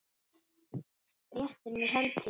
Réttir mér hönd þína.